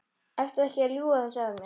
Ertu ekki að ljúga þessu að mér?